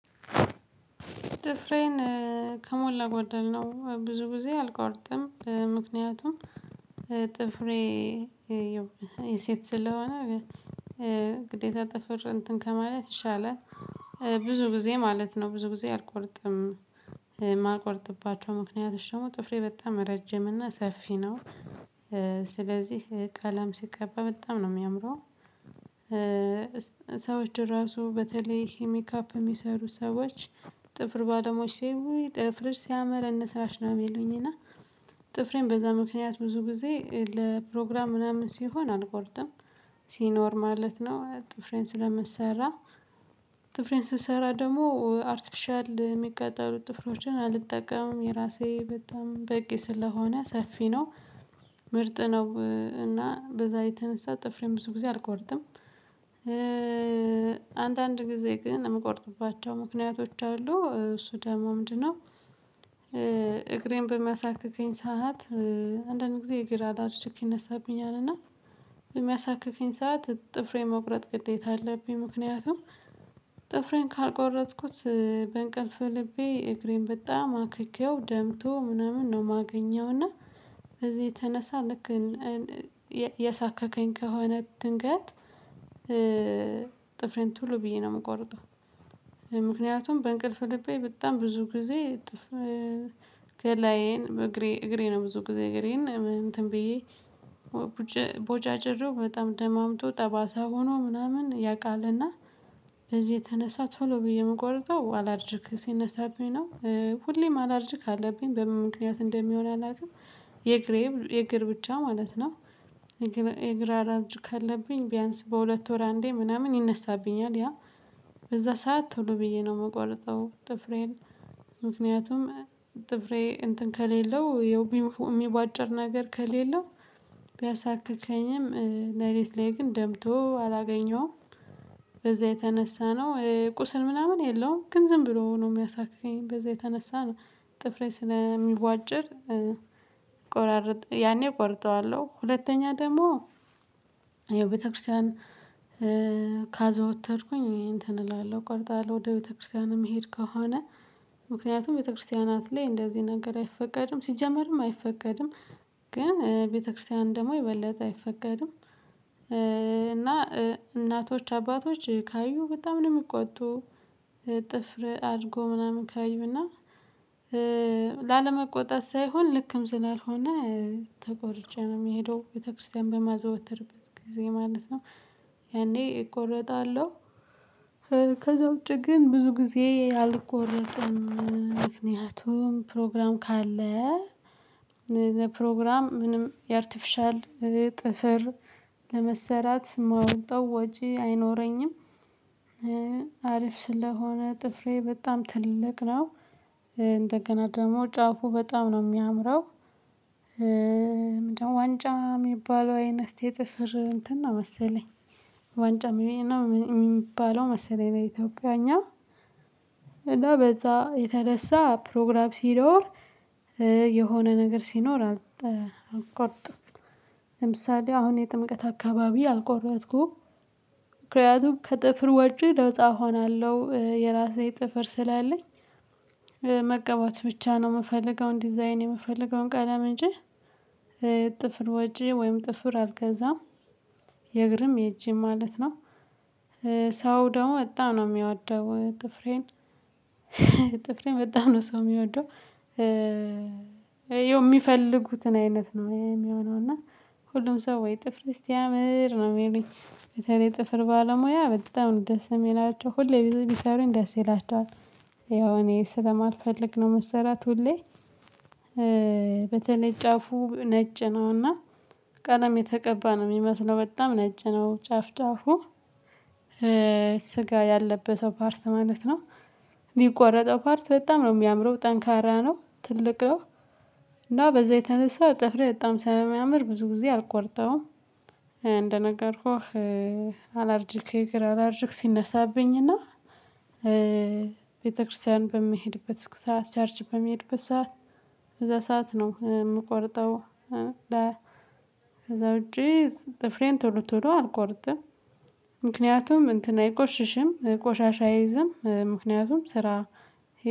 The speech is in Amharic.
ጥፍሬን ከሞላ ጎደል ነው ብዙ ጊዜ አልቆርጥም። ምክንያቱም ጥፍሬ የሴት ስለሆነ ግዴታ ጥፍር እንትን ከማለት ይሻላል። ብዙ ጊዜ ማለት ነው ብዙ ጊዜ አልቆርጥም የማልቆርጥባቸው ምክንያቶች ደግሞ ጥፍሬ በጣም ረጅም እና ሰፊ ነው። ስለዚህ ቀለም ሲቀባ በጣም ነው የሚያምረው። ሰዎች ራሱ በተለይ ሜካፕ የሚሰሩ ሰዎች ጥፍር ባለሙያዎች ሲያዩኝ ውይ ጥፍርሽ ሲያምር እንስራሽ ነው የሚሉኝ እና። ጥፍሬን በዛ ምክንያት ብዙ ጊዜ ለፕሮግራም ምናምን ሲሆን አልቆርጥም። ሲኖር ማለት ነው ጥፍሬን ስለምሰራ። ጥፍሬን ስሰራ ደግሞ አርቲፊሻል የሚቀጠሉ ጥፍሮችን አልጠቀምም የራሴ በጣም በቂ ስለሆነ ሰፊ ነው። ምርጥ ነው እና በዛ የተነሳ ጥፍሬን ብዙ ጊዜ አልቆርጥም። አንዳንድ ጊዜ ግን የምቆርጥባቸው ምክንያቶች አሉ እሱ ደግሞ ምንድን ነው? እግሬን በሚያሳክክኝ ሰዓት። አንዳንድ ጊዜ እግር አላርጅክ ይነሳብኛል እና በሚያሳክከኝ ሰዓት ጥፍሬን መቁረጥ ግዴታ አለብኝ። ምክንያቱም ጥፍሬን ካልቆረጥኩት በእንቅልፍ ልቤ እግሬን በጣም አክኬው ደምቶ ምናምን ነው የማገኘው። እና በዚህ የተነሳ ልክ እያሳከከኝ ከሆነ ድንገት ጥፍሬን ቶሎ ብዬ ነው የምቆረጠው። ምክንያቱም በእንቅልፍ ልቤ በጣም ብዙ ጊዜ ገላዬን እግሬ እግሬ ነው ብዙ ጊዜ እግሬን እንትን ብዬ ቦጫጭሬው በጣም ደማምቶ ጠባሳ ሆኖ ምናምን ያውቃል። እና በዚህ የተነሳ ቶሎ ብዬ የምቆርጠው አላርጅክ ሲነሳብኝ ነው ሁሌም አላርጅክ አለብኝ በምን ምክንያት እንደሚሆን አላውቅም። የእግሬ የእግር ብቻ ማለት ነው። የእግር አላርጅክ አለብኝ ቢያንስ በሁለት ወር አንዴ ምናምን ይነሳብኛል። ያ በዛ ሰዓት ቶሎ ብዬ ነው የምቆርጠው። ጥፍሬን ምክንያቱም ጥፍሬ እንትን ከሌለው የሚቧጭር ነገር ከሌለው ቢያሳክከኝም ለሊት ላይ ግን ደምቶ አላገኘውም። በዛ የተነሳ ነው ቁስል ምናምን የለውም። ግን ዝም ብሎ ነው የሚያሳክከኝ በዛ የተነሳ ነው። ጥፍሬ ስለሚቧጭር ያኔ ቆርጠዋለሁ። ሁለተኛ ደግሞ ያው ቤተክርስቲያን ካዘወተርኩኝ እንትን እላለሁ ቆርጠዋለው ወደ ቤተክርስቲያን እምሄድ ከሆነ። ምክንያቱም ቤተክርስቲያናት ላይ እንደዚህ ነገር አይፈቀድም ሲጀመርም አይፈቀድም። ግን ቤተክርስቲያን ደግሞ የበለጠ አይፈቀድም። እና እናቶች አባቶች ካዩ በጣም ነው የሚቆጡ። ጥፍር አድጎ ምናምን ካዩ እና ላለመቆጣት ሳይሆን ልክም ስላልሆነ ተቆርጬ ነው የምሄደው ቤተክርስቲያን በማዘወተርበት ጊዜ ማለት ነው። ያኔ እቆረጣለሁ። ከዛ ውጪ ግን ብዙ ጊዜ አልቆረጥም። ምክንያቱም ፕሮግራም ካለ ለፕሮግራም ምንም የአርቲፊሻል ጥፍር ለመሰራት ማወጣው ወጪ አይኖረኝም። አሪፍ ስለሆነ ጥፍሬ በጣም ትልቅ ነው። እንደገና ደግሞ ጫፉ በጣም ነው የሚያምረው። ዋንጫ የሚባለው አይነት የጥፍር እንትን ነው መሰለኝ። ዋንጫ የሚባለው መሰለኝ በኢትዮጵያኛ እና በዛ የተነሳ ፕሮግራም ሲኖር የሆነ ነገር ሲኖር አልቆርጥም። ለምሳሌ አሁን የጥምቀት አካባቢ አልቆረጥኩም። ምክንያቱም ከጥፍር ወጪ ነፃ እሆናለው የራሴ ጥፍር ስላለኝ። መቀባት ብቻ ነው የምፈልገው ዲዛይን የምፈልገውን ቀለም እንጂ ጥፍር ወጪ ወይም ጥፍር አልገዛም። የእግርም የእጅም ማለት ነው። ሰው ደግሞ በጣም ነው የሚወደው ጥፍሬን ጥፍሬን በጣም ነው ሰው የሚወደው። የሚፈልጉትን አይነት ነው የሚሆነው እና ሁሉም ሰው ወይ ጥፍርሽ ሲያምር ነው የሚሉኝ በተለይ የጥፍር ባለሙያ በጣም ነው ደስ የሚላቸው ሁሌ ቢሰሩኝ ደስ ይላቸዋል። ያው እኔ ስለማልፈልግ ነው መሰራት ሁሌ። በተለይ ጫፉ ነጭ ነው እና ቀለም የተቀባ ነው የሚመስለው በጣም ነጭ ነው ጫፍ ጫፉ ስጋ ያለበሰው ፓርት ማለት ነው። ሚቆረጠው ፓርት በጣም ነው የሚያምረው ጠንካራ ነው ትልቅ ነው። እና በዛ የተነሳ ጥፍሬ በጣም ስለሚያምር ብዙ ጊዜ አልቆርጠውም። እንደነገርኩህ አላርጅክ የእግር አላርጅክ ሲነሳብኝ እና ቤተክርስቲያን በምሄድበት ሰዓት ቸርች በምሄድበት ሰዓት በዛ ሰዓት ነው የምቆረጠው። ከዛ ውጪ ጥፍሬን ቶሎ ቶሎ አልቆርጥም። ምክንያቱም እንትን አይቆሽሽም ቆሻሻ አይዝም ምክንያቱም ስራ